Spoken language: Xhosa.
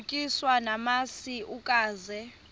utyiswa namasi ukaze